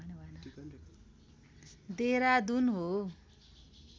देहरादुन हो